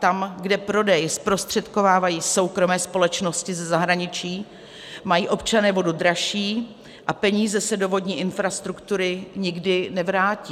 Tam, kde prodej zprostředkovávají soukromé společnosti ze zahraničí, mají občané vodu dražší a peníze se do vodní infrastruktury nikdy nevrátí.